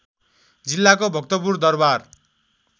जिल्लाको भक्तपुर दरबार